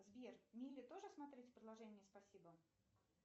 сбер мили тоже смотреть в приложении спасибо